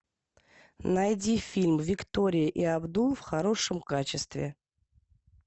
найди фильм виктория и абдул в хорошем качестве